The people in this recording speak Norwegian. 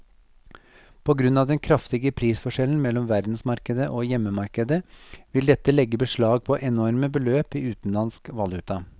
På grunn av den kraftige prisforskjellen mellom verdensmarkedet og hjemmemarkedet vil dette legge beslag på enorme beløp i utenlandsk valuta.